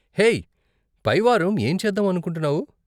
Hey, పై వారం ఏం చేద్దాం అనుకుంటున్నావు?